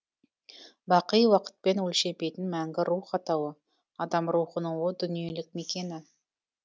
бақи уақытпен өлшенбейтін мәңгі рух атауы адам рухының о дүниелік мекені